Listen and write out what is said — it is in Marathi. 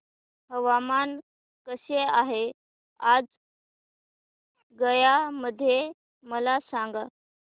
हवामान कसे आहे आज गया मध्ये मला सांगा